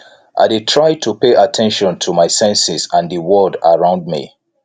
i dey try to pay at ten tion to my senses and di word around me